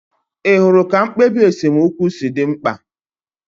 Ị hụrụ ka mkpebi esemokwu si dị mkpa?